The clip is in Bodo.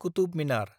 कुतुब मिनार